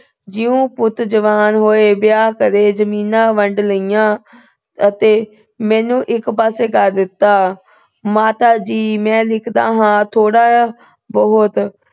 ਜਿਉਂ ਪੁੱਤ ਜਵਾਨ ਹੋਏ, ਵਿਆਹ ਕਰੇ। ਜਮੀਨਾਂ ਵੰਡ ਲਈਆਂ ਅਤੇ ਮੈਨੂੰ ਇੱਕ ਪਾਸੇ ਕਰ ਦਿੱਤਾ। ਮਾਤਾ ਜੀ, ਮੈਂ ਲਿਖਦਾ ਹਾਂ ਥੋੜਾ ਬਹੁਤ।